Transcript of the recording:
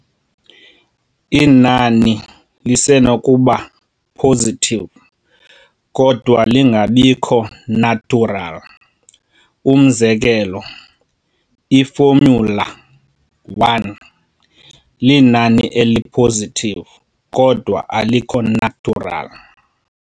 Inani lisenokuba positive kodwa lingabikho natural, Umzekelo, i- formula_1 linani eli-positive, kodwa alikho natural.